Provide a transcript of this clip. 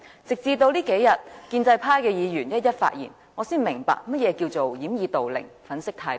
直至這數天，建制派的議員一一發言，我才明白何謂掩耳盜鈴、粉飾太平。